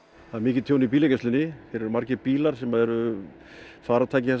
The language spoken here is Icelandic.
það er mikið tjón í bílageymslunni eru margir bílar sem eru farartæki þessa